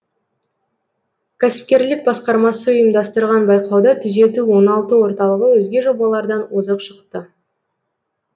кәсіпкерлік басқармасы ұйымдастырған байқауда түзету оңалту орталығы өзге жобалардан озық шықты